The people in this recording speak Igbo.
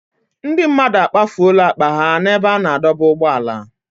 Ndị mmadụ akpafuola akpa ha n'ebe a na-adọba ụgbọala.